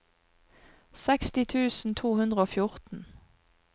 seksti tusen to hundre og fjorten